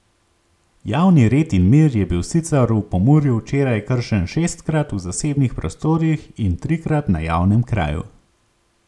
Javni red in mir je bil sicer v Pomurju včeraj kršen šestkrat v zasebnih prostorih in trikrat na javnem kraju.